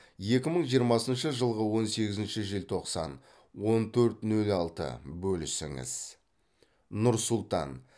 екі мың жиырмасыншы жылғы он сегізінші желтоқсан он төрт нөл алты бөлісіңіз нұр сұлтан